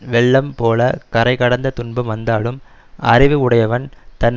வெள்ளம் போலக் கரை கடந்த துன்பம் வந்தாலும் அறிவு உடையவன் தன்